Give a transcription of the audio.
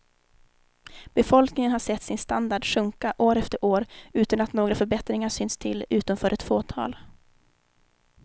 Befolkningen har sett sin standard sjunka år efter år utan att några förbättringar synts till utom för ett fåtal.